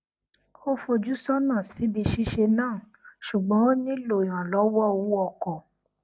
ó fojú sọnà síbi ṣíṣe náà ṣùgbọn ó nílò ìrànllọwọ owó ọkọ